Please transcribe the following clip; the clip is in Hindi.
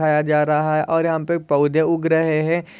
दीखाया जा रहा है और यहाँ पे पौधे उग रहे है।